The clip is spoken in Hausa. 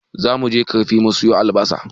Zamuje ƙarfi mu siyo albasa